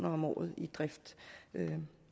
om året i drift men